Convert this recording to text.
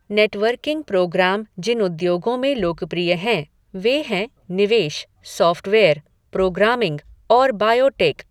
Networking programme जिन उद्योगों में लोकप्रिय हैं, वे हैं निवेश, सॉफ़्टवेयर, प्रोग्रामिंग और बायोटेक।